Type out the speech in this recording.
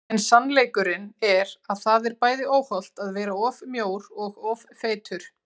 En sannleikurinn er að það er bæði óhollt að vera of mjór og of feitur.